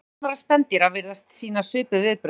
Ungviði annarra spendýra virðast sýna svipuð viðbrögð.